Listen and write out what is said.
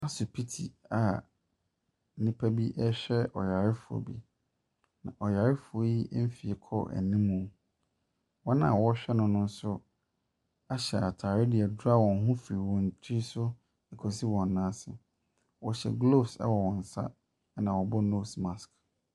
Asupiti a nnipa bi ɛrehwɛ ɔyarefoɔ bi. Ɔyarefoɔ yi nfie kɔ anim mu. Wɔn a ɔrehwɛ no nso ahyɛ ntaade de adra wɔn ho firi wɔn tiri so kɔ si wɔn nan ase. Wɔhyɛ gloves ɛwɔ wɔn sa ɛna ɔbɔ nose mask.